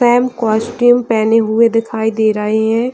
Sam costume पहने हुए दिखाई दे रहे है।